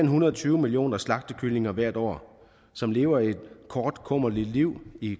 hundrede og tyve millioner slagtekyllinger hvert år som lever et kort og kummerligt liv i